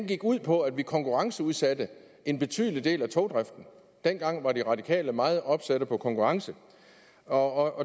gik ud på at vi konkurrenceudsatte en betydelig del af togdriften dengang var de radikale meget opsatte på konkurrencen og